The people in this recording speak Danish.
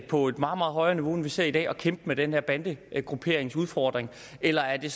på et meget meget højere niveau end vi ser i dag at kæmpe med den her bandegrupperingsudfordring eller er det